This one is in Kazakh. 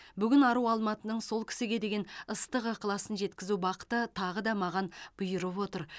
бүгін ару алматының сол кісіге деген ыстық ықыласын жеткізу бақыты тағы да маған бұйырып отыр